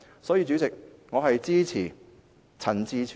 所以，主席，我支持陳志全議員的議案。